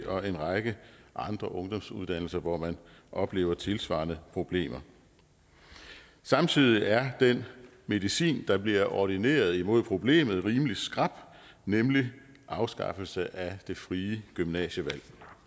og en række andre ungdomsuddannelser hvor man oplever tilsvarende problemer samtidig er den medicin der bliver ordineret imod problemet rimelig skrap nemlig en afskaffelse af det frie gymnasievalg